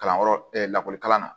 Kalanyɔrɔ lakɔlikara